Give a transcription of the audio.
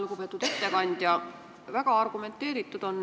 Lugupeetud ettekandja!